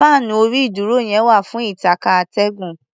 Fáànú orí-ìdúró náà wà fún ìtànká atẹ́gùn.